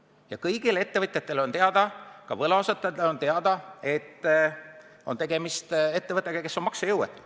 Ja kõigile ettevõtjatele on teada, ka võlausaldajatele on teada, et tegemist on ettevõttega, kes on maksejõuetu.